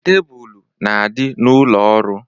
Tebulu na-adị n'ụlọ ọrụ.